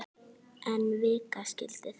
En vika skildi að.